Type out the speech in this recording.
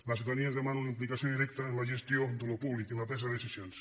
la ciutadania ens demana una implicació directa en la gestió d’allò públic i en la presa de decisions